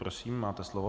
Prosím, máte slovo.